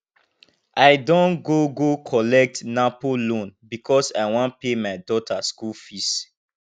i don go go collect napo loan because i wan pay my daughter school fees